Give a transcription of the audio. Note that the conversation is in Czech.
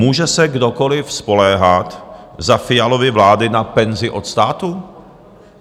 Může se kdokoliv spoléhat za Fialovy vlády na penzi od státu?